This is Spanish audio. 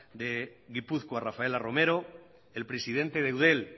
de gipuzkoa rafaela romero el presidente de eudel